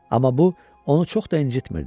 Amma bu onu çox da incitmirdi.